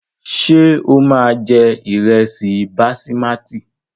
Ṣé o máa jẹ ìrẹsì basimátì?